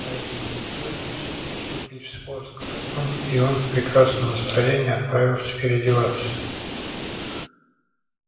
поэтому никто не рискнул вступить в спор с королём и он в прекрасном настроении отправился переодеваться